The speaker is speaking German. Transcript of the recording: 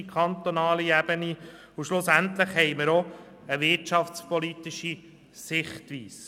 Schliesslich haben wir auch eine wirtschaftspolitische Sichtweise.